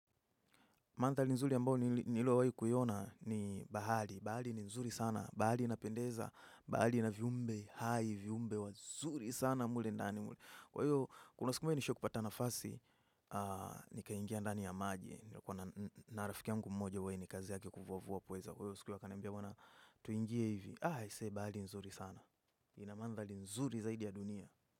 Mandhari nzuri ambayo nililo wahi kuiona ni bahari. Bahari ni nzuri sana. Bahari inapendeza. Bahari ina viumbe hai, viumbe wazuri sana mle ndani. Kwa hiyo, kuna siku nishai kupata nafasi, nikaingia ndani ya maji. Kwa na rafiki yangu mmoja huwa ni kazi yake kuvuvua kwa hizo. Kwa hiyo, siku akaniambia bwana, tuingie hivi. Aisee, bahali nzuri sana. Inamandhali nzuri zaidi ya dunia.